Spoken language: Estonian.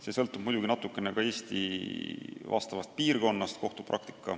See sõltub muidugi natukene ka Eesti piirkonnast.